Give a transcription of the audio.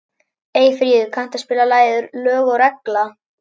Eyfríður, kanntu að spila lagið „Lög og regla“?